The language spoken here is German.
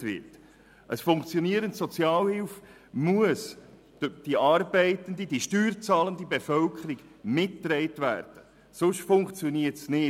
Eine funktionierende Sozialhilfe muss durch die arbeitende, steuerzahlende Bevölkerung mitgetragen werden, sonst funktioniert es nicht.